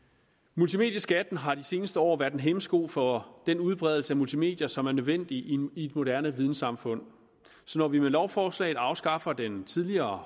multimedieskatten har de seneste år været en hæmsko for den udbredelse af multimedier som er nødvendige i et moderne vidensamfund så når vi med lovforslaget afskaffer den tidligere